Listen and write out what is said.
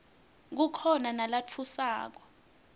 kukhona nalatfusako